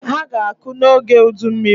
Ha ga-akụ n'oge udummiri.